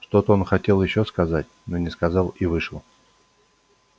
что-то он хотел ещё сказать но не сказал и вышел